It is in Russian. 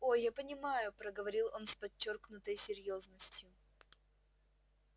о я понимаю проговорил он с подчёркнутой серьёзностью